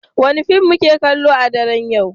Wane fim muke kallo a daren yau?